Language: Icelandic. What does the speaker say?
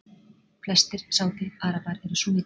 Flestir Sádi-Arabar eru súnnítar.